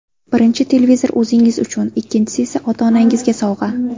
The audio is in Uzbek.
Birinchi televizor o‘zingiz uchun, ikkinchisi esa ota-onangizga sovg‘a.